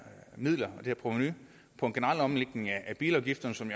provenu på en generel omlægning af bilafgifterne som